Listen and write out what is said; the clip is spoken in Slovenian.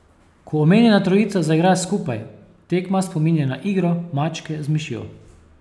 Ko omenjena trojica zaigra skupaj, tekma spominja na igro mačke z mišjo.